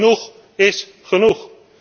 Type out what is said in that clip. Genoeg is genoeg!